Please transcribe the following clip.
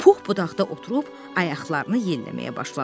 Pux budaqda oturub ayaqlarını yelləməyə başladı.